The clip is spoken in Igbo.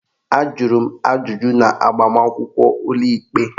Ajụrụ m ajụjụ n'agbamakwụkwọ ụlọikpe